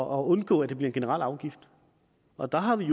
undgå at det bliver en generel afgift og der har vi